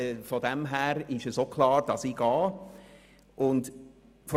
Von dem her ist auch klar, dass ich in die Kontrolluntersuchun gen gehe.